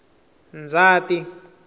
ndzhati